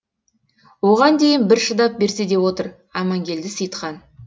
оған дейін бір шыдап берсе деп отыр амангелді сеи ітхан